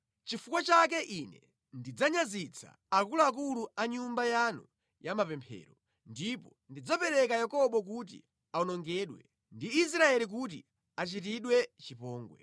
Chifukwa chake Ine ndidzanyazitsa akuluakulu a Nyumba yanu ya mapemphero, ndipo ndidzapereka Yakobo kuti awonongedwe ndi Israeli kuti achitidwe chipongwe.”